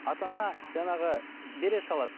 ата ана жаңағы бере салады